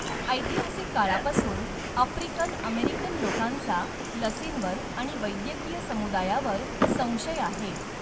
ऐतिहासिक काळापासून, African American लोकांचा लसींवर आणि वैद्यकीय समुदायावर संशय आहे.